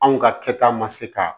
Anw ka kɛta ma se ka